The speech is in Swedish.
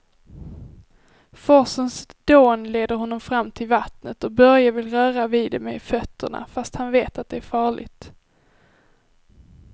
Forsens dån leder honom fram till vattnet och Börje vill röra vid det med fötterna, fast han vet att det är farligt.